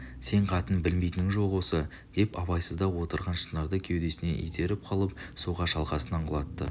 сен қатың білмейтінің жоқ осы деп абайсызда отырған шынарды кеудесінен итеріп қалып суға шалқасынан құлатты